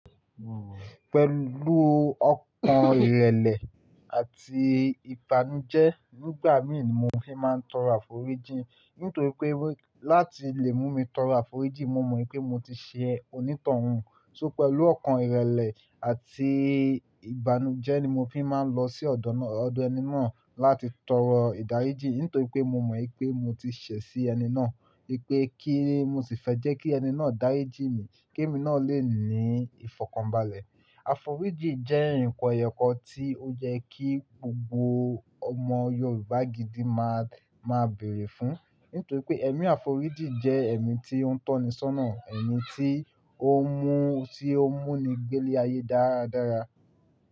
Pẹ̀lú ọkàn ìrẹ̀lẹ̀ àti ìbanujẹ́ nígbà mìíni mo fi máa ń tọrọ àforíjì. Nítorí pé láti lè mú mi tọrọ àforíjì mo mọ̀ pé mo ti ṣe onítọ̀hun. So pẹ̀lú ọkàn ìrẹ̀lẹ̀ àti ìbanujẹ́ ni mo fi máa ń lọ sí ọ̀dọ̀ ẹni náà láti tọrọ ìdáríjì. Nítorí pé mo wipé mo ti ṣe sí ẹni náà pé kí n sì fẹ́ jẹ́ kí ẹni náà dáríjì mí kí èmi náà lè ní ìfọ̀kànbalẹ̀. Àforíjì jẹ́ nǹkan èyọ̀ kan tí ó jẹ́ kí gbogbo ọmọ Yorùbá gidi máa, máa bèrè fún. Nítorí pé ẹ̀mí àforíjì jẹ́ ẹ̀mí tí ó ń tọ́ni sónà, ẹ̀mí tí ó ń mú, tí ó ń mú ni gbé lé ayé dáradára.